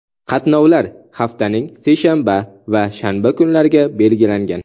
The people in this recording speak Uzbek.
Qatnovlar haftaning seshanba va shanba kunlariga belgilangan.